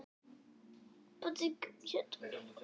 Gerir allt kristaltært.